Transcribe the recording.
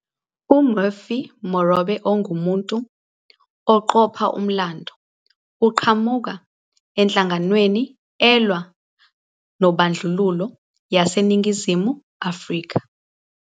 UMurphy Morobe ungumuntu oqopha umlando oqhamuka enhlanganweni elwa nobandlululo yaseNingizimu Afrika.